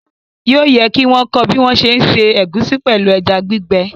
Yóò yẹ kí wọ́n kọ́ ọ bí wọ́n ń ṣé ṣe ẹ̀gúsí pẹ̀lú ẹja gbígbẹ